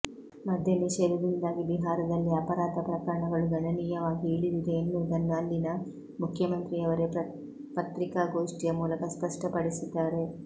ಮದ್ಯ ನಿಷೇಧದಿಂದಾಗಿ ಬಿಹಾರದಲ್ಲಿ ಅಪರಾಧ ಪ್ರಕರಣಗಳು ಗಣನೀಯವಾಗಿ ಇಳಿದಿದೆ ಎನ್ನುವುದನ್ನು ಅಲ್ಲಿನ ಮುಖ್ಯಮಂತ್ರಿಯವರೇ ಪತ್ರಿಕಾಗೋಷ್ಠಿಯ ಮೂಲಕ ಸ್ಪಷ್ಟಪಡಿಸಿದ್ದಾರೆ